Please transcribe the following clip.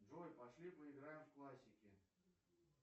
джой пошли поиграем в классики